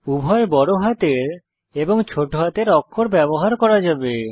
উভয় বড় হাতের এবং ছোট হাতের অক্ষর ব্যবহার করা যাবে